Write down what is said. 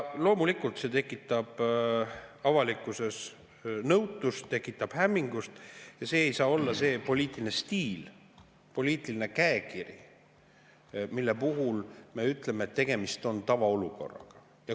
Loomulikult tekitab see avalikkuses nõutust, tekitab hämmingut, ja see ei saa olla see poliitiline stiil, poliitiline käekiri, mille puhul me ütleme, et tegemist on tavaolukorraga.